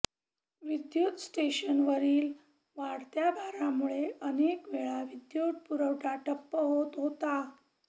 विद्युत स्टेशनवरील वाढत्या भारामुळे अनेक वेळा विद्युत पुरवठा ठप्प होत होता